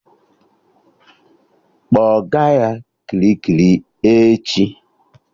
Kpọga ya Kirikiri echi!